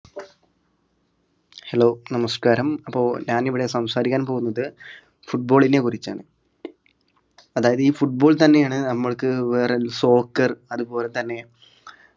hello നമസ്‌കാരം അപ്പൊ ഞാനിവിടെ സംസാരിക്കാൻ പോന്നത് football നെ കുറിച്ചാണ് അതായത് ഈ football തന്നെയാണ് നമ്മൾക്ക് വേറെ ഒരു soccer അതുപോലെ തന്നെ